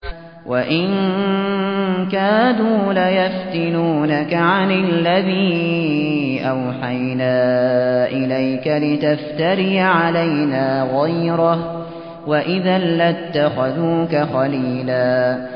وَإِن كَادُوا لَيَفْتِنُونَكَ عَنِ الَّذِي أَوْحَيْنَا إِلَيْكَ لِتَفْتَرِيَ عَلَيْنَا غَيْرَهُ ۖ وَإِذًا لَّاتَّخَذُوكَ خَلِيلًا